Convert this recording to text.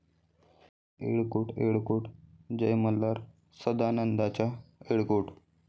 येळ कोट येळकोट जय मल्हार'... 'सदांनंदाचा येळकोट'